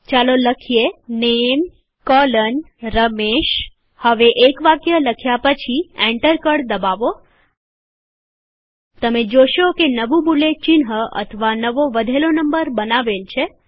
ચાલો લખીએ નેમ રમેશ હવે એક વાક્ય લખ્યા પછી એન્ટર કળ દબાવો તમે જોશો કે જે નવું બુલેટ ચિહ્ન અથવા નવો વધેલો નંબર બનાવેલ છે